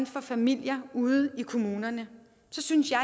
for familier ude i kommunerne så synes jeg